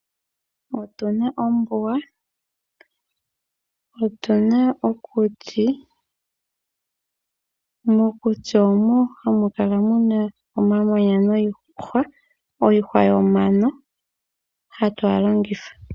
Otuna ombuga, otuna okuti, mokuti moka hamu kala muna omamanya niihwa yomano, hatu ga longitha.